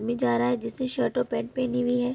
आदमी जा रहा है जिसने शर्ट और पैंट पहनी हुई है।